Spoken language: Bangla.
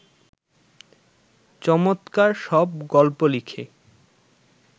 চমৎকার সব গল্প লিখে